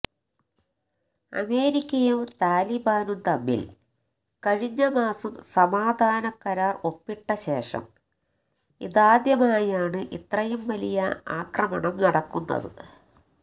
അമേരിക്കയും താലിബാനും തമ്മില് കഴിഞ്ഞ മാസം സമാധാന കരാര് ഒപ്പിട്ട ശേഷം ഇതാദ്യമായാണ് ഇത്രയും വലിയ ആക്രമണം നടക്കുന്നത്